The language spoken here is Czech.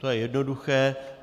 To je jednoduché.